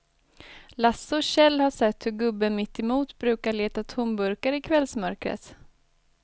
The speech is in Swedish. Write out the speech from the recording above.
Lasse och Kjell har sett hur gubben mittemot brukar leta tomburkar i kvällsmörkret.